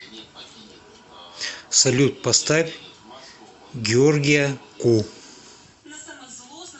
салют поставь георгия ку